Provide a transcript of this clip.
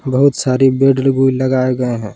बहुत सारे बेड भी लगाए गए हैं।